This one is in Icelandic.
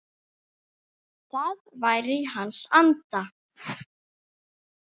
Það væri í hans anda.